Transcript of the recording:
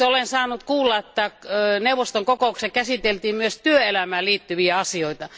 Esimerkiksi olen saanut kuulla, että neuvoston kokouksessa käsiteltiin myös työelämään liittyviä asioita.